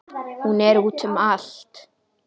Hún er úti um allt.